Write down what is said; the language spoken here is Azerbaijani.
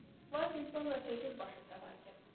Lakin sonra çəkir başı fəlakət.